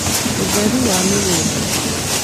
ũtheru wa mĩgũnda